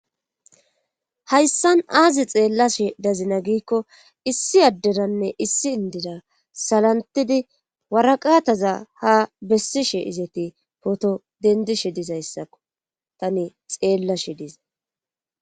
hayssan aazi xeellashe dazina giikko issi adderanne issi indira salantidii waraqataza ha besishe izeti pooto dendishe dizayssakko tani xeellashe dizay